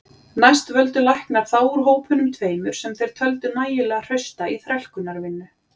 Næst völdu læknar þá úr hópunum tveimur sem þeir töldu nægilega hrausta í þrælkunarvinnu.